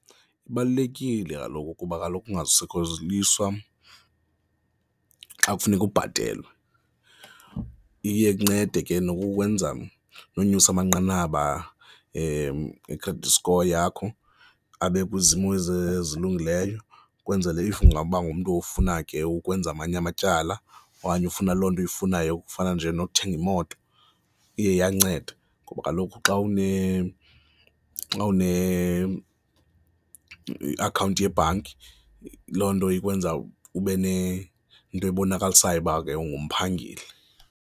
Ibalulekile kaloku kuba kaloku ungasokoliswa xa kufuneka kubhathelwe, iye incede ke nokukwenza nonyusa amanqanaba e-credit score yakho abe kwizimo ezilungileyo. Ukwenzele if ungaba ngumntu ofuna ke ukwenza amanye amatyala okanye ufuna loo nto uyifunayo kufana nje nokuthenga imoto iye iyanceda ngoba kaloku xa une, xa une iakhawunti yebhanki, loo nto ikwenza ube nento ebonakalisayo uba ke ungumphangeli.